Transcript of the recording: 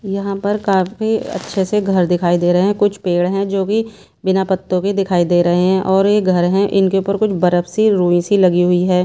यहां पर काफी अच्छे से घर दिखाई दे रहे हैं कुछ पेड़ है जो भी बिना पत्तों के दिखाई दे रहे हैं और ये घर हैं इनके ऊपर कुछ बर्फ सी रुई सी लगी हुई है।